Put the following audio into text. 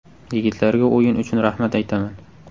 Yigitlarga o‘yin uchun rahmat aytaman.